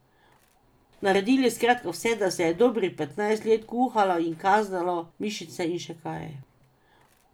Naredili skratka vse, da se je dobrih petnajst let kuhalo in kazalo mišice in še kaj.